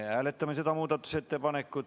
Me hääletame seda muudatusettepanekut.